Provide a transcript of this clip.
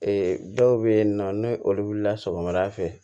Ee dɔw bɛ yen nɔ n'o olu wulila sɔgɔmada fɛ